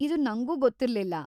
ಇದು ನಂಗೂ ಗೊತ್ತಿರ್ಲಿಲ್ಲ.